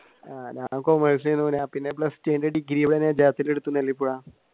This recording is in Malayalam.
കോമേഴ്‌സ് ആയിരുന്നു